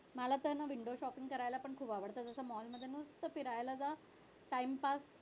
मला तर हाय ना विंडो shopping करायला पण खूप आवडत नुसतं फिरायला जा आणि timepass